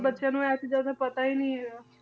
ਬੱਚਿਆਂ ਨੂੰ ਇਹ ਚੀਜ਼ਾਂ ਦਾ ਪਤਾ ਹੀ ਨੀ ਹੈਗਾ